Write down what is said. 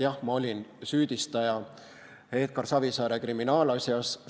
Jah, ma olin süüdistaja Edgar Savisaare kriminaalasjas.